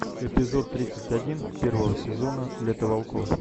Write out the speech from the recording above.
эпизод тридцать один первого сезона лето волков